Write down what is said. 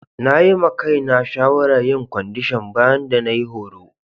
Na yi ma Kai na shawara yin kwandishan bayan da na yi horo.